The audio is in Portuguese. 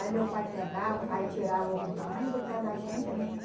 Aí meu pai pegava, aí tirava o o tamanho do pé da gente, né?